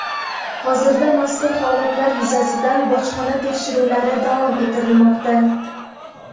Hozirda mazkur holatlar yuzasidan bojxona tekshiruvlari davom ettirilmoqda.